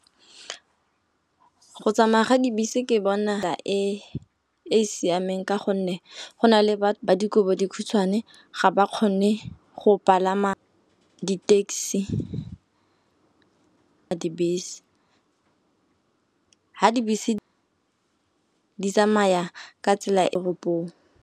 Go tsamaya ga dibese ke bona e siameng, ka gonne go na le ba dikobodikhutshwane ga ba kgone go palama di taxi, dibese. Ga dibese di tsamaya ka tsela e tropong.